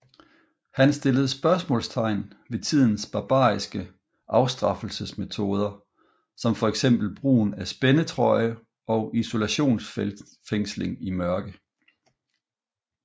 Han stillede spørgsmålstegn ved tidens barbariske afstraffelsesmetoder som fx brugen af spændetrøje og isolationsfængsling i mørke